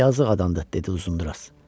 Yazıq adam da, dedi Uzundraz.